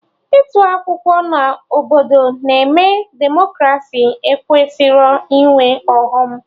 Ịtụ akwụkwọ na obodo na-eme Demokraci ekwesịrọ ịnwe ọghọm